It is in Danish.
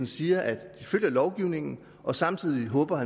siger at de følger lovgivningen og samtidig håber